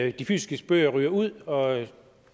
at de fysiske bøger ryger ud og